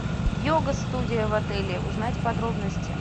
йога студия в отеле узнать подробности